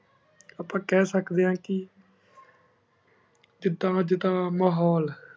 ਆਪਾਂ ਖ ਸ੍ਕ੍ਦ੍ਯਨ ਆਂ ਕੀ ਜਿਦਾਂ ਅਜੇ ਦਾ ਮਹੁਲ